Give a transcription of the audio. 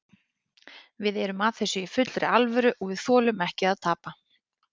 Við erum að þessu í fullri alvöru og við þolum ekki að tapa.